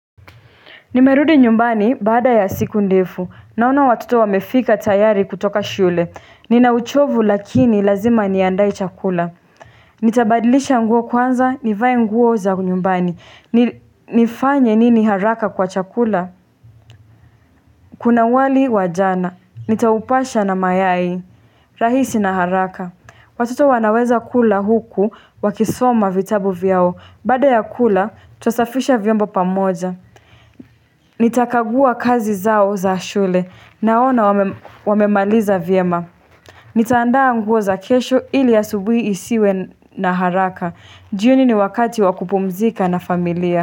Nimerudi nyumbani baada ya siku ndefu. Naona watoto wamefika tayari kutoka shule. Ninauchovu lakini lazima niandae chakula. Nitabadilisha nguo kwanza, nivae nguo za nyumbani. Nifanye nini haraka kwa chakula? Kuna wali wajana. Nitaupasha na mayai. Rahisi na haraka. Watoto wanaweza kula huku wakisoma vitabu vyao. Baada ya kula, tusafisha vyombo pamoja. Nitakagua kazi zao za shule naona wamemaliza vyema Nitaandaa nguo za kesho ili a subui isiwe na haraka jioni ni wakati wakupumzika na familia.